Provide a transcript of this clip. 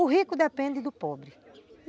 O rico depende do pobre.